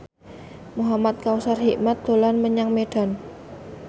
Muhamad Kautsar Hikmat dolan menyang Medan